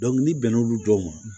n'i bɛn n'olu dɔw ma